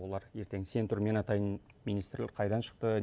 олар ертең сен тұр мен атайын министрлік қайдан шықты